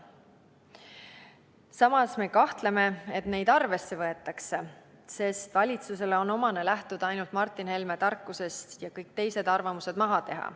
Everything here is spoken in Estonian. Samas me kahtleme, et neid arvesse võetakse, sest valitsusele on omane lähtuda ainult Martin Helme tarkusest ja kõik teised arvamused maha teha.